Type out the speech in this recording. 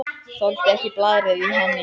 Þoldi ekki blaðrið í henni.